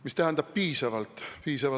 Mis tähendab piisavalt?